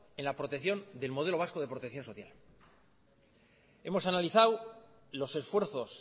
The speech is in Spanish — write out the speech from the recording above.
en la protección del modelo vasco de protección social hemos analizado los esfuerzos